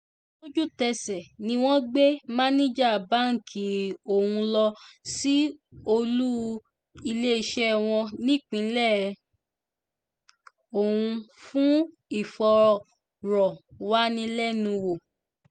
lójútèsè ni wọ́n gbé máníjà báǹkì ọ̀hún lọ sí olú iléeṣẹ́ wọn nípínlẹ̀ ọ̀hún fún ìfọ̀rọ̀wánilẹ́nuwò